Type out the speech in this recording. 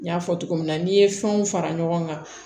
N y'a fɔ cogo min na n'i ye fɛnw fara ɲɔgɔn kan